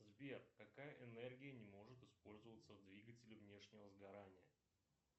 сбер какая энергия не может использоваться в двигателе внешнего сгорания